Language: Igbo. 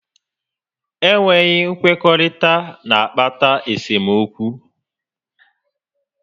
Enweghị nkwekọrịta n'akpata esemokwu